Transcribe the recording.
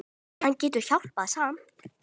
En hann getur hjálpað samt.